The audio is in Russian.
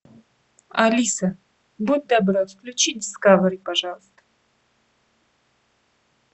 алиса будь добра включи дискавери пожалуйста